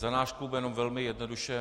Za náš klub jen velmi jednoduše.